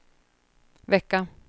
vecka